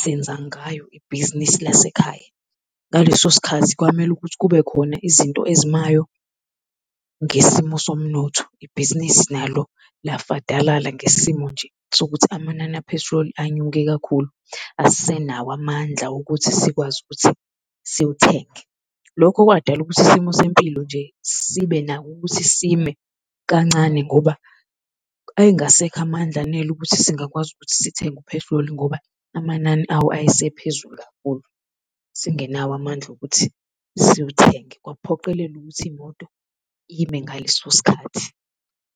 senza ngayo ibhizinisi lasekhaya. Ngaleso sikhathi kwamele ukuthi kube khona izinto ezimayo ngesimo somnotho, ibhizinisi nalo lafadalala ngesimo nje sokuthi amanani aphethiloli inyuke kakhulu. Asisenawo amandla wokuthi sikwazi ukuthi siwuthenge. Lokho kwadalela ukuthi isimo sempilo nje sibenako ukuthi sime kancane, ngoba ayengasekho amandla anele ukuthi singakwazi ukuthi sithenge uphethiloli ngoba amanani awo ayesephezulu kakhulu, singenawo amandla okuthi siwuthenge, kwakuphoqelela ukuthi imoto ime ngaleso sikhathi.